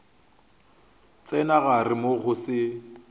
tsena gare moo go se